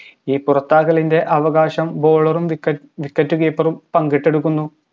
ഈ പുറത്താക്കലിൻറെ അവകാശം bowler ഉം wicket keeper ഉം പങ്കിട്ടെടുക്കുന്നു